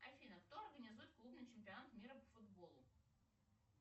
афина кто организует клубный чемпионат мира по футболу